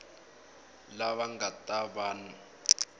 lava va nga ta va